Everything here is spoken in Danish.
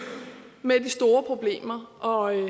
med de store problemer og